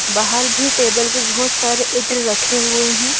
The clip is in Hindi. बाहर भी टेबल पर बहुत सारे इत्र रखे हुए है।